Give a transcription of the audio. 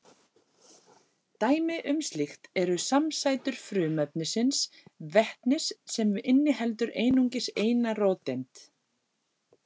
Dæmi um slíkt eru samsætur frumefnisins vetnis sem inniheldur einungis eina róteind.